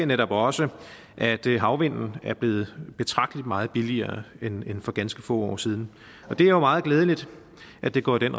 netop også at havvind er blevet betragteligt meget billigere end for ganske få år siden og det er jo meget glædeligt at det går i den